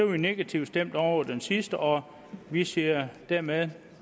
vi negativt stemt over for den sidste og vi siger dermed